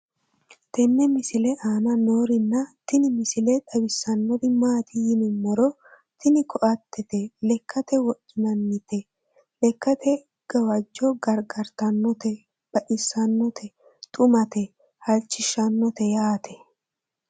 tenne misile aana noorina tini misile xawissannori maati yinummoro tini koattete lekkate wodhinanninte lekate gawajjo gargartannote baxissannote xumate halchishshannote yyate